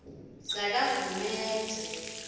sakagumedze